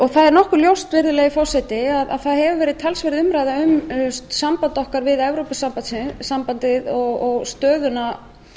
stjórnarskrárinnar það er nokkuð ljóst virðulegi forseti að það hefur verið talsverð umræða um samband okkar við evrópusambandið og stöðuna